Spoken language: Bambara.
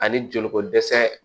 Ani joliko dɛsɛ